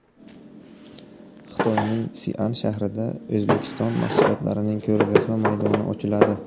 Xitoyning Sian shahrida O‘zbekiston mahsulotlarining ko‘rgazma maydoni ochiladi.